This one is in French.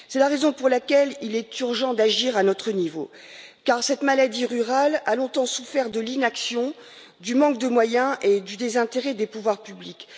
C'est la raison pour laquelle il est urgent d'agir à notre niveau, car cette maladie rurale a longtemps souffert de l'inaction, du manque de moyens et du désintérêt des pouvoirs publics.